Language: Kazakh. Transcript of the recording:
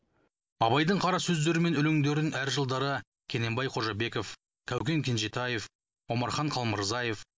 абайдың қарасөздері мен өлеңдерін әр жылдары кененбай қожабеков кәукен кенжетаев омархан қалмырзаев